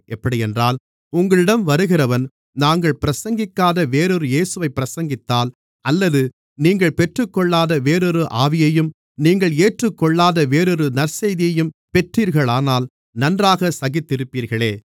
எப்படியென்றால் உங்களிடம் வருகிறவன் நாங்கள் பிரசங்கிக்காத வேறொரு இயேசுவைப் பிரசங்கித்தால் அல்லது நீங்கள் பெற்றுக்கொள்ளாத வேறொரு ஆவியையும் நீங்கள் ஏற்றுக்கொள்ளாத வேறொரு நற்செய்தியையும் பெற்றீர்களானால் நன்றாகச் சகித்திருப்பீர்களே